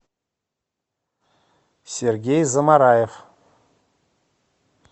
сергей замараев